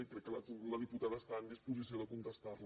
i crec que la diputada està en disposició de contestar la